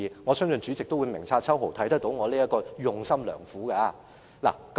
我相信代理主席定必明察秋毫，看到我這用心良苦的做法。